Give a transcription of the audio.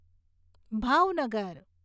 Bhavnagar